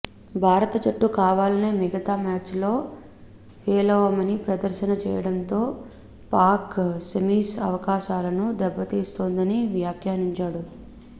భారత జట్టు కావాలనే మిగితా మ్యాచ్ లో పేలవమైన ప్రదర్శన చేయడంతో పాక్ సెమీస్ అవకాశాలను దెబ్బతిస్తుందని వ్యాఖ్యానించాడు